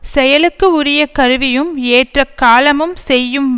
செயலுக்கு உரிய கருவியும் ஏற்ற காலமும் செய்யும்